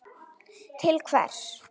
til hvers.